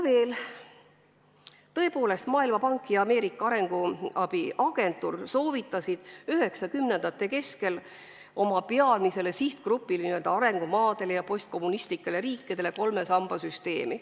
Tõepoolest, Maailmapank ja Ameerika Ühendriikide arenguabi agentuur soovitasid 1990-ndate keskel oma peamisele sihtgrupile, n-ö arengumaadele ja postkommunistlikele riikidele kolme samba süsteemi.